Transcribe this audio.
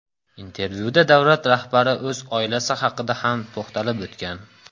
Intervyuda Davlat rahbari o‘z oilasi haqida ham to‘xtalib o‘tgan.